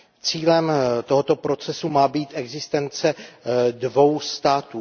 Cílem tohoto procesu má být existence dvou států.